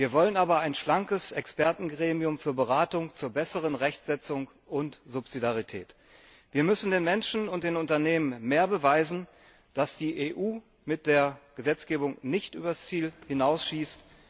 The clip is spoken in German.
Wir wollen ein schlankes Expertengremium für Beratung zur besseren Rechtsetzung und Subsidiarität. Wir müssen den Menschen und den Unternehmen mehr beweisen, dass die EU mit der Gesetzgebung nicht übers Ziel hinausschießt.